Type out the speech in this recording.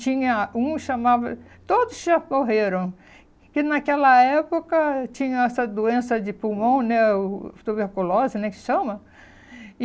tinha um chamado, todos já morreram, que naquela época tinha essa doença de pulmão, né o, tuberculose, né, que chama.